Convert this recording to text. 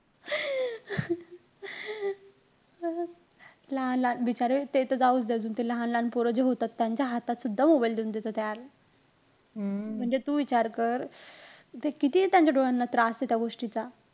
लहान लहान बिचारे ते तर जाऊचं दे अजून. ते लहान लहान पोरं जे होतात, त्यांच्या हातात सुद्धा mobile देऊन देतात म्हणजे तू विचार कर. ते किती त्यांच्या डोळ्यांना त्रास आहे, त्या गोष्टीचा.